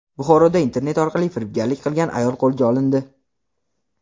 Buxoroda internet orqali firibgarlik qilgan ayol qo‘lga olindi.